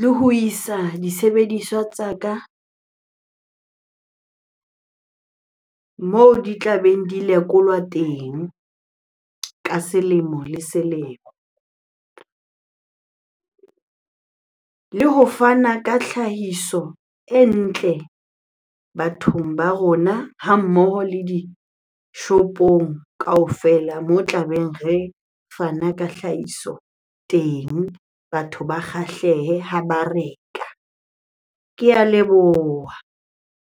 le ho isa disebediswa tsa ka moo di tlabeng di lekolwa teng ka selemo le selemo. Le ho fana ka tlhahiso e ntle bathong ba rona ha mmoho le dishopong kaofela mo tlabeng re fana ka hlahiso teng. Batho ba kgahlehe ha ba reka. Ke a leboha.